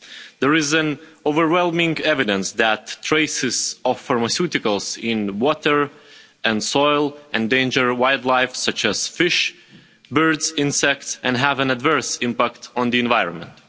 There is overwhelming evidence that traces of pharmaceuticals in water and soil endanger wildlife such as fish, birds and insects, and have an adverse impact on the environment.